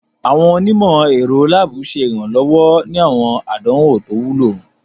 Awọn onimọ-ẹrọ laabu ṣe iranlọwọ ni awọn àdánwò to wúlò.